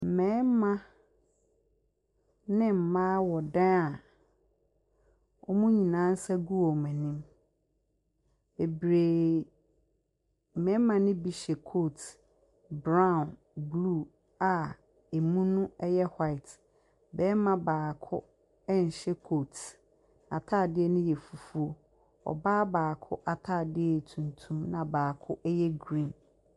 Mmarima ne mmaa wɔ dan a wɔn nyinaa nsa gu wɔn anim bebree. Mmarima ne bi hyɛ kooti brown, blue a ɛmu no yɛ white. Barima baako nhyɛ kooti, n’ataadeɛ no yɛ fufuo. Ɔbaa baako ataadeɛ yɛ tuntum na baako yɛ green.